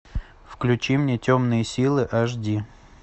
включи мне темные силы аш ди